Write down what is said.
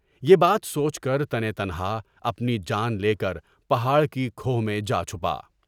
یہ بات سوچ کر تانے تنہا اپنی جان کے لیے پہاڑ کی کھوہ میں جا چھپایا۔